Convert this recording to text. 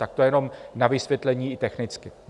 Tak to jenom na vysvětlení i technicky.